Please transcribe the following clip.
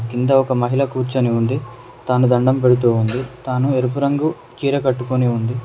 కింద ఒక మహిళ కూర్చొని ఉంది తాను దండం పెడుతోంది తాను ఎరుపు రంగు చీర కట్టుకొని ఉంది.